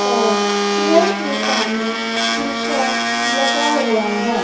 और चेयर के सामने शीशा लगा हुआ है।